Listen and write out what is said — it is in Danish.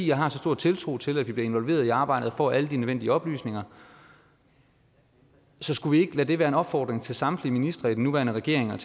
jeg har så stor tiltro til at vi bliver involveret i arbejdet og får alle de nødvendige oplysninger så skulle vi ikke lade det være en opfordring til samtlige ministre i den nuværende regering og